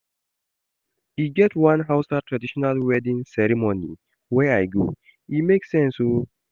E get one Hausa traditional wedding ceremony wey I go, e make sense o.